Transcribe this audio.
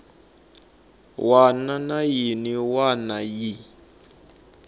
wana na yin wana yi